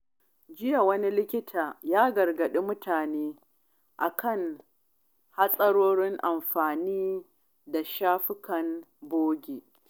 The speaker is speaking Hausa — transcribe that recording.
A jiya, wani likita ya gargaɗi mutane kan hatsarin amfani da shafukan bogi.